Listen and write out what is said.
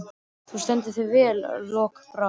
Þú stendur þig vel, Lokbrá!